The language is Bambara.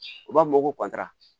U b'a fɔ ma ko kɔntira